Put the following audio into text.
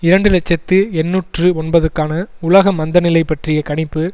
இரண்டு இலட்சத்தி எண்ணூற்று ஒன்பதுக்கான உலக மந்த நிலை பற்றிய கணிப்பு